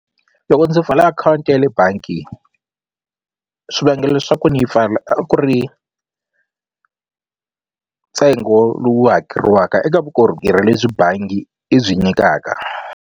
Loko ndzi pfula akhawunti ya le bangi swivangelo swa ku ni yi pfala a ku ri ntsengo lowu hakeliwaka eka vukorhokeri lebyi bangi yi byi nyikaka.